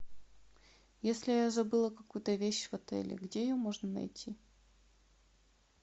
если я забыла какую то вещь в отеле где ее можно найти